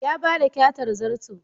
Ya ba da kyatar zarto.